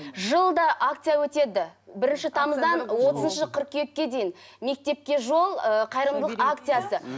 жылда акция өтеді бірінші тамыздан отызыншы қыркүйекке дейін мектепке жол ыыы қайырымдылық акциясы